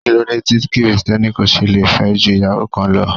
Kíló dé tí Kristẹni kò ṣe le fẹ́ ju ìyàwó kan lọ?